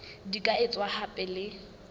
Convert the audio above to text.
di ka etswa hape le